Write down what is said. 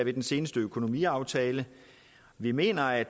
i den seneste økonomiaftale vi mener at